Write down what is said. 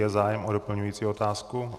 Je zájem o doplňující otázku?